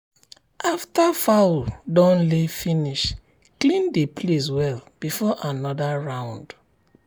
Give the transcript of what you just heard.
after fowl don lay finish clean the place well before another round.